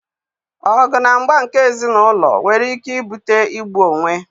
Ọgụ na mgba nke ézì n'ụlọ nwere ike ibute igbu onwe